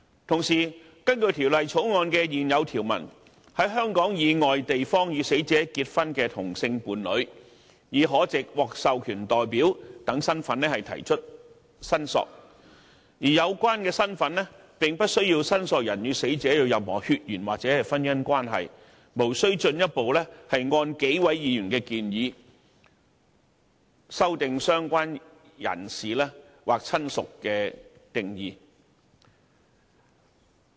同時，根據《條例草案》的現有條文，在香港以外地方與死者結婚的同性伴侶已可藉"獲授權代表"等身份提出申索，而有關身份並不需要申索人與死者有任何血緣或婚姻關係，無須進一步按幾位議員的建議修訂"相關人士"或"親屬"的定義。